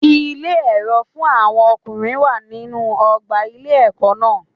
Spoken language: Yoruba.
Ilé èrò fún àwọn ọkùnrin wà nínú ọgbà ilé ẹkọ náà.